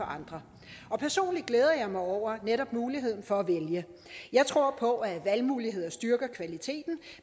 andre personligt glæder jeg mig over netop muligheden for at vælge jeg tror på at valgmuligheder styrker kvaliteten